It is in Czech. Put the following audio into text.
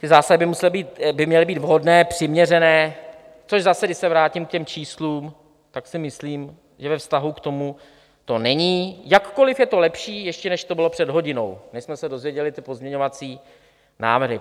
Ty zásahy by měly být vhodné, přiměřené, což zase, když se vrátím k těm číslům, tak si myslím, že ve vztahu k tomu to není, jakkoliv je to lepší ještě, než to bylo před hodinou, než jsme se dozvěděli ty pozměňovací návrhy.